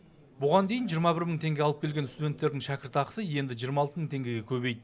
бұған дейін жиырма бір мың теңге алып келген студенттердің шәкіртақысы енді жиырма алты мың теңгеге көбейді